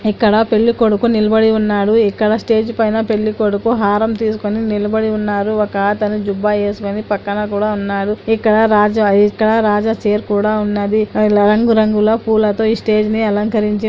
ఇక్కడ పెళ్ళికొడుకు నిలబడి ఉన్నాడు. ఇక్కడ స్టేజి పైన పెళ్ళికొడుకు హారం తీసుకొని నిలబడి ఉన్నారు. ఒక అతను జుబ్బా వేసుకొని పక్కన కూడా ఉన్నారు. ఇక్కడ రాజా ఇక్కడ రాజా చైర్ కూడా ఉన్నది. ఇలా రంగురంగుల పూలతో ఈ స్టేజ్ ని అలంకరించి--